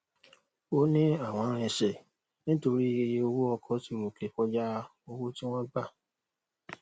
òní àwọn rinsẹ nítorí iye owó ọkọ tí ròkè kọjá owó tí wón gbà